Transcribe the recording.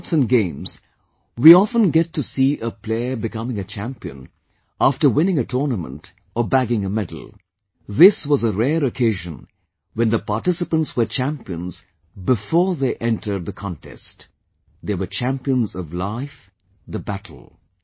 In sports and games, we often get to see a player becoming a champion after winning a tournament or bagging a medal; this was a rare occasion when the participants were champions BEFORE they entered the contest... they were champions of LIFE, the battle